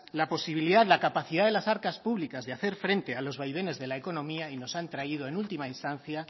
la posibilidad la capacidad de las arcas públicas de hacer frente a los vaivenes de la economía y nos han traído en última instancia